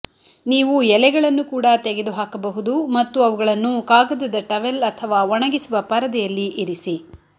ನೀವು ಎಲೆಗಳನ್ನು ಕೂಡ ತೆಗೆದುಹಾಕಬಹುದು ಮತ್ತು ಅವುಗಳನ್ನು ಕಾಗದದ ಟವೆಲ್ ಅಥವಾ ಒಣಗಿಸುವ ಪರದೆಯಲ್ಲಿ ಇರಿಸಿ